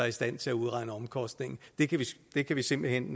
i stand til at udregne omkostningen det kan vi simpelt hen